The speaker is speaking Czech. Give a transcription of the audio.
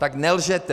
Tak nelžete.